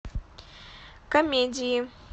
комедии